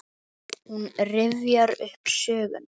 Hún rifjar upp söguna.